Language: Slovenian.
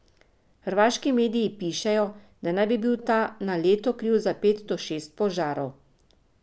Hrvaški mediji pišejo, da naj bi bil ta na leto kriv za pet do šest požarov.